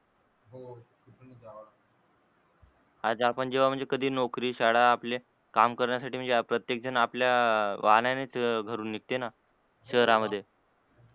आज आपण जेव्हा म्हणजे कधी नौकरी, श्याळा आपले काम करण्यासाठी म्हणजे प्रत्येक जन आपल्या वाहनांनीच घरून निघते न शहरामध्ये